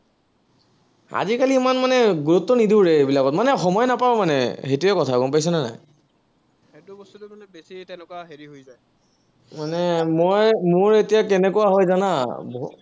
আজিকালি ইমান মানে গুৰুত্ব নিদিওঁৰে, এইবিলাকত। মানে সময় নাপাওঁ মানে, সেইটোৱেই কথা, গম পাইছানে নাই। মানে মই মোৰ এতিয়া কেনেকুৱা হয় জানা,